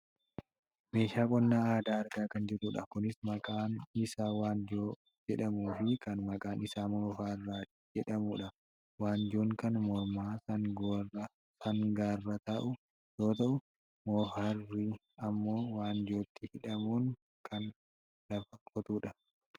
meeshaa qonnaa aadaa argaa kan jirrudha. kunis kan maqaan isaa wanjoo jedhamuufi kan maqaan isaa moofara jedhamudha. wanjoon kan morma sangaarra taa'u yoo ta'u moofarri ammoo wanjootti hidhamuun kan lafa qotudha.